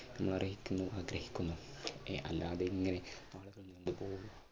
അർഹിക്കുന്നു ആഗ്രഹിക്കുന്നു. അഹ് അല്ലാതെ ഇങ്ങനെ